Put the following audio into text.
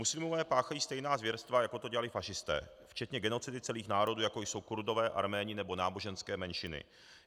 Muslimové páchají stejná zvěrstva, jako to dělali fašisté, včetně genocidy celých národů, jako jsou Kurdové, Arméni nebo náboženské menšiny.